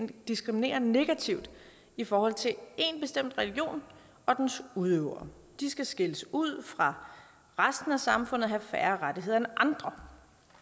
diskriminere negativt i forhold til en bestemt religion og dens udøvere de skal skilles ud fra resten af samfundet og have færre rettigheder end andre